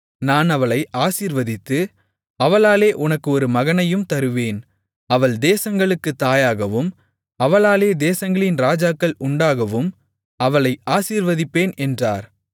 நான் அவளை ஆசீர்வதித்து அவளாலே உனக்கு ஒரு மகனையும் தருவேன் அவள் தேசங்களுக்குத் தாயாகவும் அவளாலே தேசங்களின் ராஜாக்கள் உண்டாகவும் அவளை ஆசீர்வதிப்பேன் என்றார்